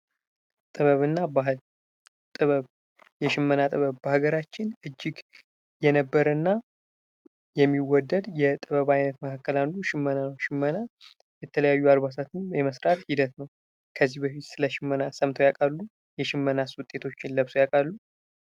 ጥበብ እና ባህል ጥበብ የሽመና ጥበብ በሀገራችን የነበረ እና የሚወደድ ከጥበብ መካከል አንዱ ሽመና ነው። ሽመና የተለያዩ አልባሳትን የመስራት ሂደት ነው ።ከዚህ በፊት በሽመና ሰርተው ያውቃሉ? የሽመነና ልብስስ ለብሰው ያውቃሉ?